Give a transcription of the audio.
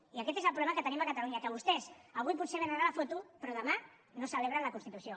i aquest és el problema que tenim a catalunya que vostès avui potser vénen a la foto però demà no celebren la constitució